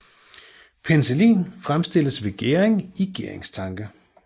Penicillin fremstilles ved gæring i gæringstanke